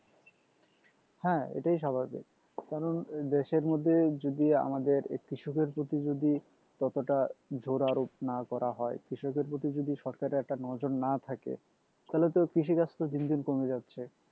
হ্যাঁ এটাই স্বাভাভিক কারণ দেশের মধ্যে যদি আমাদের কৃষকের প্রতি যদি ততটা জোরারোপ না করা হয় কৃষকের প্রতি যদি সরকারের একটা নজর না থাকে তাহলে তো কৃষিকাজ তো দিন দিন কমে যাচ্ছেই